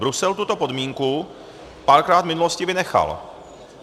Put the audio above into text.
Brusel tuto podmínku párkrát v minulosti vynechal.